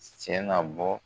na bɔ.